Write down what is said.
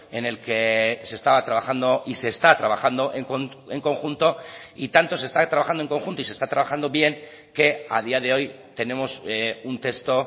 en el que se estaba trabajando y se está trabajando en conjunto y tanto se está trabajando en conjunto y se está trabajando bien que a día de hoy tenemos un texto